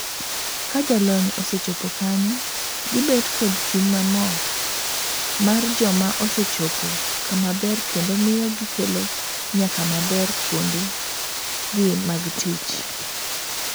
Ka jolonyosee chopo kanyo, gibet kod chuny mamor mar joma osee chopo kama ber kendo miyo gikelo nyak maber kuonde gi mag tich.